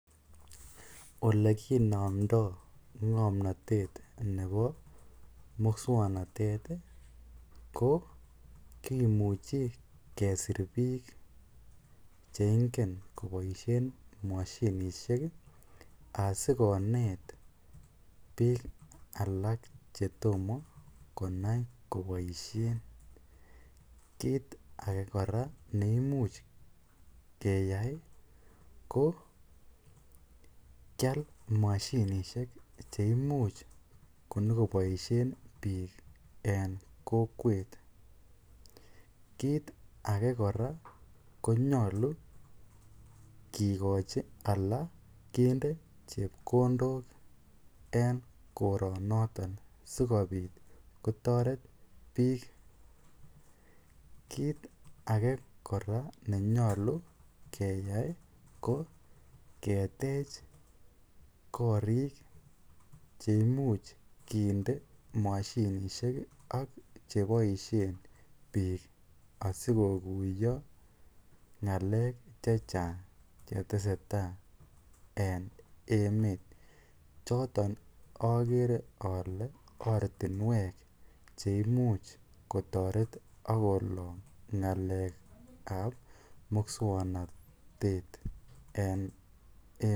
Olekimindoi ng'omnotet nebo muswongnotet ko kimuchei kesir biik cheingen koboisien mashinishek asikonet biik alak chetomo konai koboishen kiit age kora neimuch keyai ko kial moshinishek cheimuch konyiko boishen biik en kokwet kiit ake kora konyolu kikochi ala kende chepkondok en koronoton sikobit kotoret biik kiit ake kora nenyolu keyai ko ketech korik cheimuch kinde mashinishek ak cheboishe biik asikokuyo ng'alek che chang che tesetai eng emet choton akere ale ortinwek cheimuch kotoret akolong ng'alek ap muswongnotet en emet.